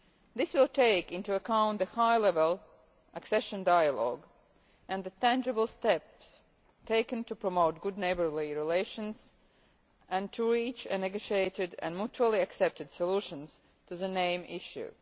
This will take into account the High-Level Accession Dialogue and the tangible steps taken to promote good neighbourly relations and to reach a negotiated and mutually accepted solution to the name issue.